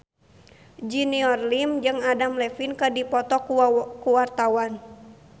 Junior Liem jeung Adam Levine keur dipoto ku wartawan